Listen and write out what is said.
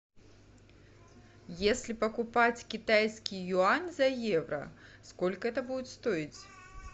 если покупать китайский юань за евро сколько это будет стоить